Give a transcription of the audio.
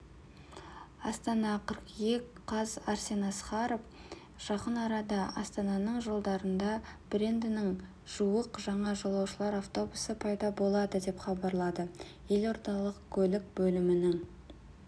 астана қыркүйек қаз арсен асқаров жақын арада астананың жолдарында брендінің жуық жаңа жолаушылар автобусы пайда болады деп хабарлады елордалық көлік бөлімінің